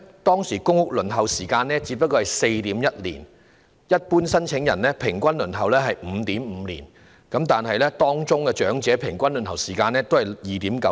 當時的公屋輪候時間只是 4.1 年，一般申請人平均輪候 5.5 年，長者的平均輪候時間則只是 2.9 年。